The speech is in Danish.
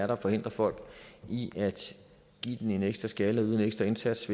der forhindrer folk i at give den en ekstra skalle og yde en ekstra indsats